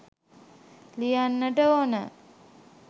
ලියන්ට ඕනේ